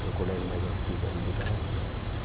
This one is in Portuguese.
que é o colégio mais antigo ali do bairro.